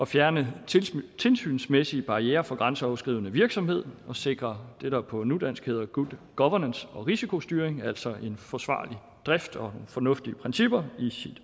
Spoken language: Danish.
fjerne tilsynsmæssige barrierer for grænseoverskridende virksomhed og sikre det der på nudansk hedder good governance og risikostyring altså en forsvarlig drift og fornuftige principper i